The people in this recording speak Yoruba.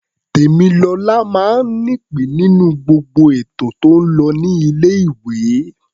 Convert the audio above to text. Tèmilọlá máa ń nípìn-ín nínú gbogbo ètò tó ń lọ ní ilé-ìwé.